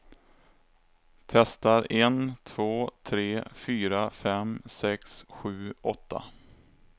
Testar en två tre fyra fem sex sju åtta.